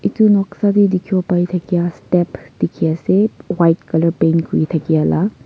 edu noksa tae dikhiwo paithakya step dikhiase white colour paint kuri thakyala.